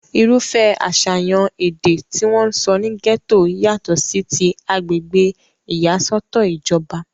irúfẹ́ àṣàyàn èdè tí wọ́n ń sọ ní gẹ́tò yàtọ̀ sí ti agbègbè ìyàsọ́tọ̀ ìjọba